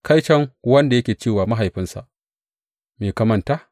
Kaiton wanda yake cewa mahaifinsa, Me ka manta?’